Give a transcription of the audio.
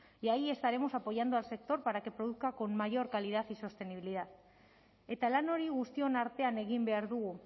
y ahí estaremos apoyando al sector para que produzca con mayor calidad y sostenibilidad eta lan hori guztion artean egin behar dugu